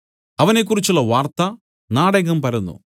അവനെക്കുറിച്ചുള്ള വാർത്ത നാടെങ്ങും പരന്നു